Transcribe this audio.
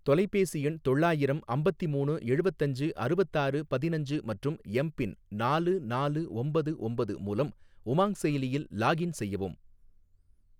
தொலைபேசி எண் தொள்ளாயிரம் அம்பத்திமூணு எழுவத்தஞ்சு அறுவத்தாறு பதினஞ்சு மற்றும் எம் பின் நாலு நாலு ஒம்பது ஒம்பது மூலம் உமாங் செயலியில் லாக்இன் செய்யவும்